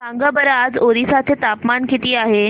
सांगा बरं आज ओरिसा चे तापमान किती आहे